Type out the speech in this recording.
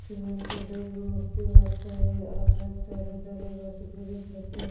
Cement -এর ডে মূর্তি আছে আর তার ধারে ধারে গাছ ব্রিচ আছে ।